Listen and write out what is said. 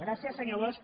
gràcies senyor bosch